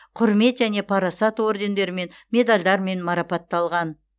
құрмет және парасат ордендерімен медальдармен марапатталған